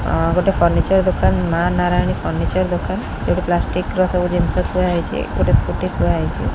ଅ ଗୋଟେ ଫର୍ନିଚର ଦୋକାନ ମା ନାରାୟଣୀ ଫର୍ନିଚର ଦୋକାନ ଏଠି ପ୍ଲାଷ୍ଟିକ ର ସବୁ ଜିନିଷ ଥୁଆ ହେଇଛି ଏପଟେ ସ୍କୁଟି ଥୁଆ ହେଇଛି।